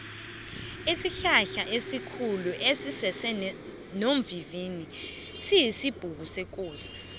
isihlahlaesikhulu esisesonovivili siyisibhukusekosi